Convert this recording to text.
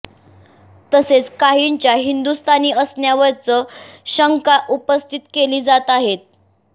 तसेच काहींच्या हिंदुस्थानी असण्यावरचं शंका उपस्थित केली जात आहेत